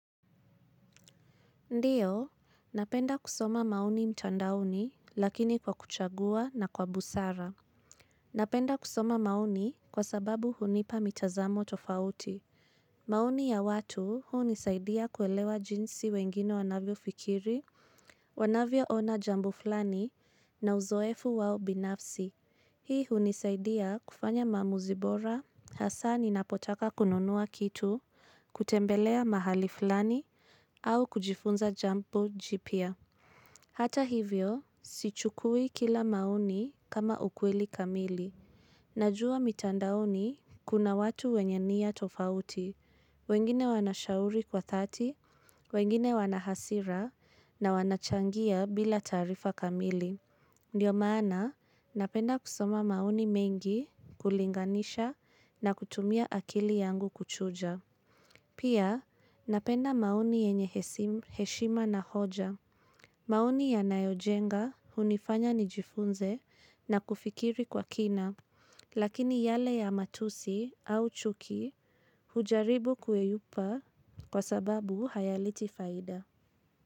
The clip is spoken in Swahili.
Ndiyo, napenda kusoma maoni mtandaoni, lakini kwa kuchagua na kwa busara. Napenda kusoma mauni kwa sababu hunipa mitazamo tofauti. Maoni ya watu, hunisaidia kuelewa jinsi wengine wanavyofikiri, wanavyo ona jambo flani, na uzoefu wao binafsi. Hii hunisaidia, kufanya maamuzi bora, hasaa ninapotaka kununua kitu, kutembelea mahali fulani, au kujifunza jambo jipia. Hata hivyo, sichukui kila maoni, kama ukweli kamili. Najua mitandaoni, kuna watu wenye nia tofauti. Wengine wanashauri kwa thati, wengine wana hasira, na wanachangia bila taarifa kamili. Ndiyo maana, napenda kusoma maoni mengi, kulinganisha na kutumia akili yangu kuchuja. Pia, napenda maoni yenye hesim heshima na hoja. Maoni yanayojenga, hunifanya nijifunze, na kufikiri kwa kina. Lakini yale ya matusi, au chuki hujaribu kuyeyupa, kwa sababu hayaleti faida.